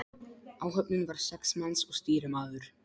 Áhöfnin var sex manns og stýrimaður.